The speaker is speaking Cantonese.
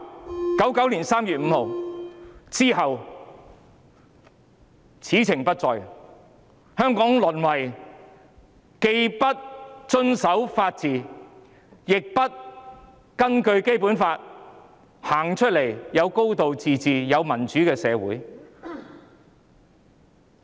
在1999年3月5日後，此情不再，香港淪為既不遵守法治，亦不根據《基本法》實行"高度自治"及民主的社會。